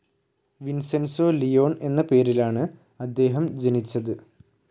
Vincenzo Leone എന്ന പേരിലാണ് അദ്ദേഹം ജനിച്ചത്.